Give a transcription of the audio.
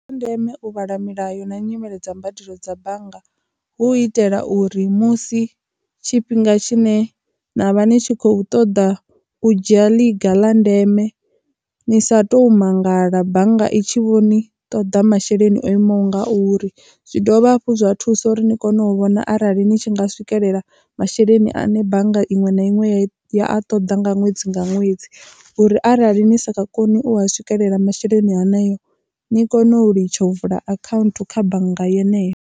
Ndi zwa ndeme u vhala milayo na nyimele dza mbadelo dza bannga hu itela uri musi tshifhinga tshine na vha ni tshi khou ṱoḓa u dzhia liga ḽa ndeme ni sa tou mangala bannga i tshi vhoni toḓa masheleni o imaho ngauri, zwi dovha hafhu zwa thusa uri ni kone u vhona arali ni tshi nga swikelela masheleni ane bannga iṅwe na iṅwe ya a ṱoḓa nga ṅwedzi nga ṅwedzi uri arali ni sakha koni u swikelela masheleni haneyo ni kone u litsha u vula account kha bannga yeneyo.